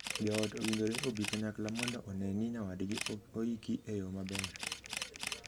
Joot owinjore obii kanyakla mondo onee ni nyawadgi oiki e yoo maber.